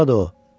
Burdadır o.